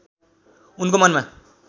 उनको मनमा